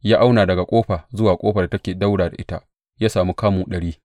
Ya auna daga ƙofa zuwa ƙofar da take ɗaura ta ita; ya sami kamu ɗari.